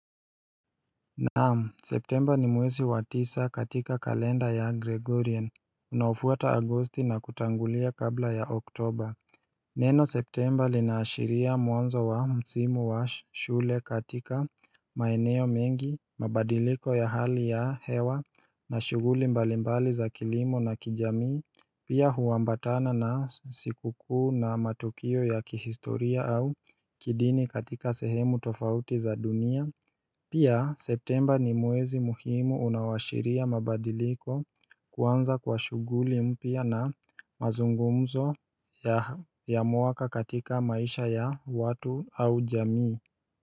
Naam Septemba ni mwesi wa tisa katika kalenda ya Gregorian unaofuata Agosti na kutangulia kabla ya Oktoba Neno Septemba linaashiria mwanzo wa msimu wa shule katika maeneo mengi mabadiliko ya hali ya hewa na shuguli mbalimbali za kilimo na kijamii Pia huambatana na sikukuu na matukio ya kihistoria au kidini katika sehemu tofauti za dunia Pia Septemba ni mwezi muhimu unaoashiria mabadiliko kuanza kwa shughuli mpya na mazungumzo ya mwaka katika maisha ya watu au jamii.